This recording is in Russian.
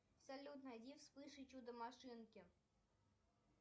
салют найди спыш и чудо машинки